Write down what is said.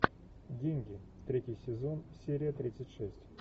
деньги третий сезон серия тридцать шесть